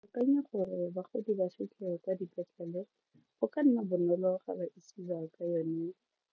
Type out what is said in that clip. Ke akanya gore bagodi ba kwa dipetlele go ka nna bonolo ga ba isiwa ka yone